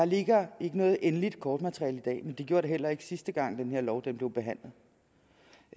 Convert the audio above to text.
ligger noget endeligt kortmateriale men det gjorde der heller ikke den sidste gang da den her lov blev behandlet